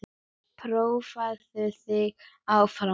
Prófaðu þig áfram!